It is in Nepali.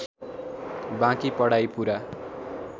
बाँकी पढाइ पूरा